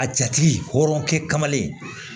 A jatigi hɔrɔnkɛ kamalen